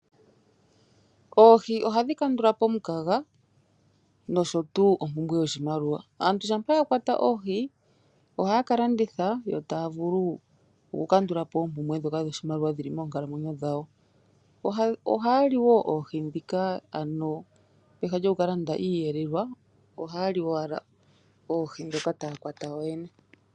Oohi ohadhi kandulapo omukaga nosho tuu ompumbwe yoshimaliwa. Aantu shampa ya kwata oohi ohaya kalanditha yo taya vulu oku kandulapo oompumbwe ndhoka dhoshimaliwa dhili moonkalamwenyo dhawo. Ohaya li woo oohi ndhika ano peha lyoku kalanda iiyelelwa ohaya li owala oohi ndhoka taya kwata yoyene.